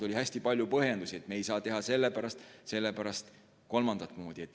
Tuli hästi palju põhjendusi, et me ei saa seda teha selle pärast, teise pärast, kolmanda pärast.